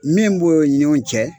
Min b'o ɲɔgɔn cɛ